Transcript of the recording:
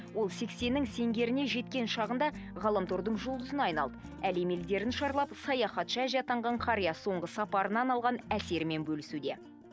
ол сексеннің сеңгеріне жеткен шағында ғаламтордың жұлдызына айналды әлем елдерін шарлап саяхатшы әже атанған қария соңғы сапарынан алған әсерімен бөлісуде